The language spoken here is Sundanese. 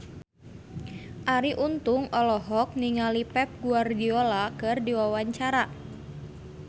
Arie Untung olohok ningali Pep Guardiola keur diwawancara